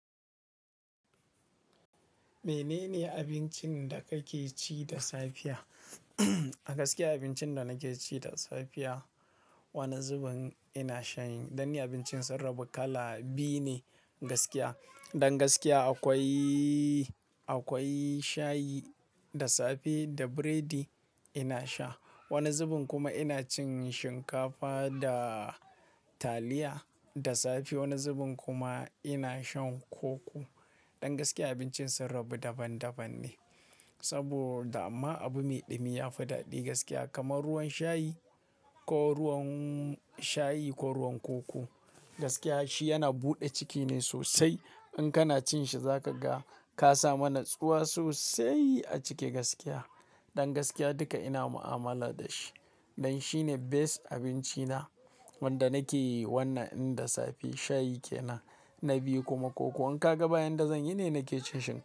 Menene abincin da kake ci da safiya? A gaskiya abincin da nake ci da safiya, wani zubin ina shayin, don abincin sun rabu kala biyu ne gaskiya. Don gaskiya akwai, akwai shayi da safe da biredi ina sha. Wani zubin kuma ina cin shinkafa da taliya da safe. Wani zubin kuma ina shan koko. Don gaskiya abincin sun rabu daban daban ne saboda amma abu mai ɗumi ya fi daɗi gaskiya kamar ruwan shayi ko ruwan shayi ko ruwan koko. Gaskiya shi yana buɗe ciki ne sosai. In kana cin shi za ka ga ka sami natsuwa sosai a ciki gaskiya. Don gaskiya duka ina mu'amala da shi. Don shi ne best abinci na wanda nake yi. Wannan in da safe shayi kenan na biyu kuma koko. In ka ga ba yanda zan yi ne nake cin shinkafa.